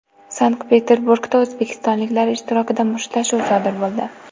Sankt-Peterburgda o‘zbekistonliklar ishtirokida mushtlashuv sodir bo‘ldi.